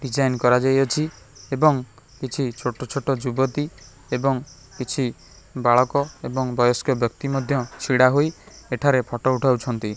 Design କରାଯାଇଅଛି ଏବଂ କିଛି ଛୋଟ ଛୋଟ ଯୁବତୀ ଏବଂ କିଛି ବାଳକ ଏବଂ ବୟସ୍କ ବ୍ୟକ୍ତି ମଧ୍ୟ ଛିଡ଼ା ହୋଇ ଏଠାରେ ଫଟୋ ଉଠାଉଛନ୍ତି।